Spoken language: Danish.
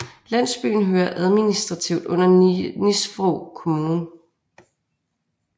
Landsbyen hører administrativt under Nisvrå kommune